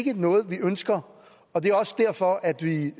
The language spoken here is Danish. ikke noget vi ønsker og det er også derfor at vi